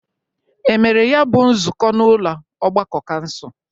E mere ya bụ nzụkọ n'ụlọ ọgbakọ kansụl?